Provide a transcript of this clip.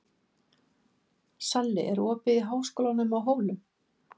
Salli, er opið í Háskólanum á Hólum?